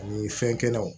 Ani fɛnkɛnɔw